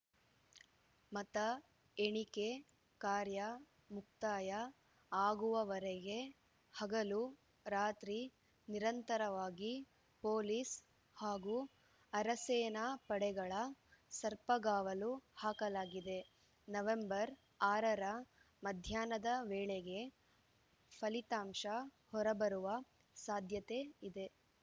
ಮತ ಎಣಿಕೆ ಕಾರ್ಯ ಮುಕ್ತಾಯ ಆಗುವವರೆಗೆ ಹಗಲು ರಾತ್ರಿ ನಿರಂತರವಾಗಿ ಪೊಲೀಸ್‌ ಹಾಗೂ ಅರೆಸೇನಾ ಪಡೆಗಳ ಸರ್ಪಗಾವಲು ಹಾಕಲಾಗಿದೆ ನವೆಂಬರ್ ಆರರ ಮಧ್ಯಾಹ್ನದ ವೇಳೆಗೆ ಫಲಿತಾಂಶ ಹೊರಬರುವ ಸಾಧ್ಯತೆ ಇದೆ